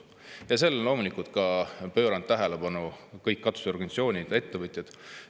Ja sellele on pööranud tähelepanu kõik katusorganisatsioonid, ettevõtjad.